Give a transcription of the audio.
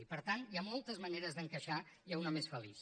i per tant hi ha moltes maneres d’encaixar i n’hi ha una més feliç